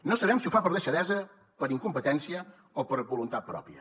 no sabem si ho fa per deixadesa per incompetència o per voluntat pròpia